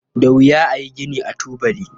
Da wuya a yi gini ba tubali.